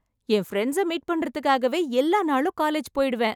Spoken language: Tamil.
என் பிரெண்ட்ஸ் மீட் பண்றதுக்காகவே எல்லா நாளும் காலேஜ் போயிடுவேன்.